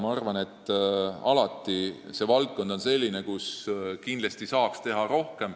Ma arvan, et see on selline valdkond, kus saaks kindlasti rohkem teha.